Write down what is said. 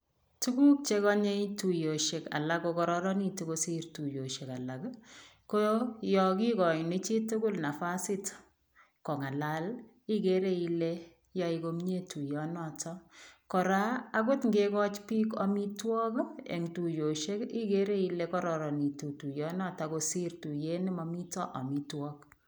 Tuguk cheyoe tuyosiek alak kokororonitu kosir tuyosiek alak, ko yokigoini chitugul nafasit kongalal ii igere ile yoe komie tuyonoto. Kora agot ngegochi biik amitwogik eng tuyosiek igere ile kororonitu tuyonoto kosir tuyet ne mamito amitwogik.